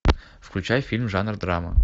включай фильм жанр драма